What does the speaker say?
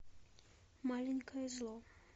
маленькое зло